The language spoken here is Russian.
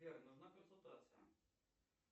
сбер нужна консультация